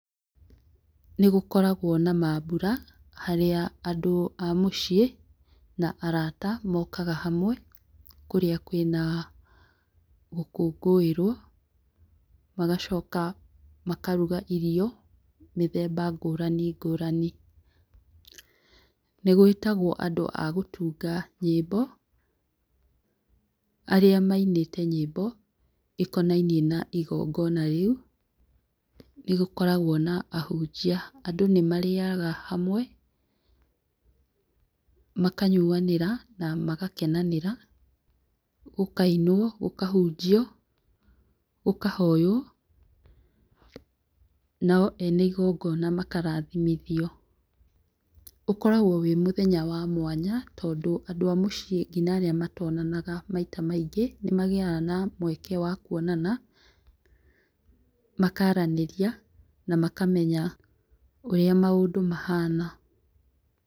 Nĩgũkoragwo na mambũra harĩa andũ a mũciĩ na arata mokaga hamwe kũrĩa kwĩna gũkũngũĩrwo, magacoka makaruga irio mĩthemba ngũrani ngũrani. Nĩgwĩtagwo andũ a gũtunga nyĩmbo arĩa mainĩte nyĩmbo ikonainie na igongona rĩu. Nĩgũkoragwo na ahunjia, andũ nĩmarĩaga hamwe makanyuanĩra na magakenanĩra, gũkainwo gũkahunjio gũkahoywo nao ene igongona makarathimithio. Ũkoragwo wĩ mũthenya wa mwanya tondũ andũ a mũciĩ nginya arĩa matonanaga maita maingi nĩmagĩaga na mweke wa kuonana, makaranĩria na makamenya ũrĩa maũndũ mahana.